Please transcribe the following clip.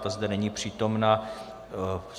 Ta zde není přítomna.